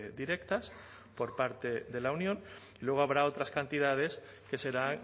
directas por parte de la unión y luego habrá otras cantidades que será